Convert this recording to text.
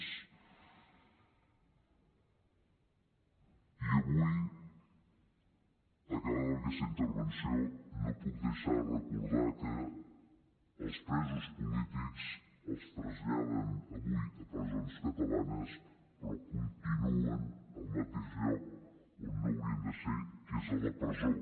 i avui acabada aquesta intervenció no puc deixar de recordar que els presos polítics els traslladen avui a presons catalanes però continuen al mateix lloc on no haurien de ser que és a la presó